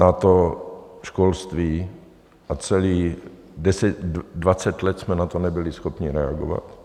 Na to školství a celých 20 let jsme na to nebyli schopni reagovat.